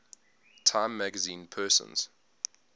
time magazine persons